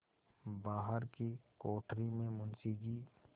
बाहर की कोठरी में मुंशी जी